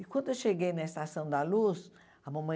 E quando eu cheguei na Estação da Luz, a mamãe...